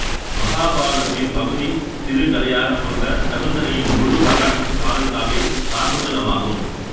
மகாபாரதத்தின் பகுதி சிறுகதையாகக் கொண்ட சகுந்தலையின் முழுவரலாற்றுக் காதல் காவியம் சாகுந்தலம் ஆகும்